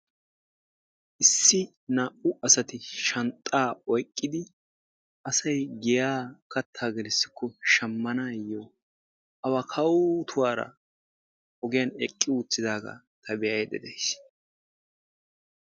Issi naa'u asati shanxxa oyqqidi asay giya katta gelisiko shammanayo awaa kawutura ogiyan eqqi uttidaga hai beaydda deaysi.